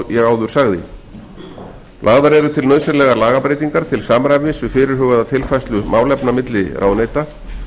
eins og ég áður sagði lagðar eru til nauðsynlegar lagabreytingar til samræmis við fyrirhugaða tilfærslu málefna milli ráðuneyta